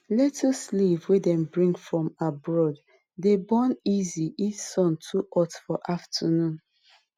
lettuce leaf wey dem bring from abroad dey burn easy if sun too ot for afternoon